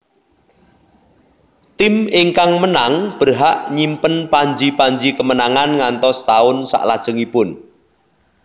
Tim ingkang menang berhak nyimpen panji panji kemenangan ngantos taun saklajengipun